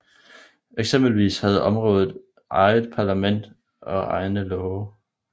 Eksempelvis havde området eget parlament og egne love